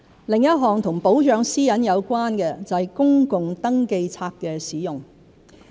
另一項與保障私隱有關的就是公共登記冊的使用。